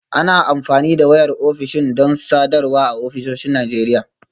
Ana amfani da wayar ofishin don sadarwa a ofisoshin Najeriya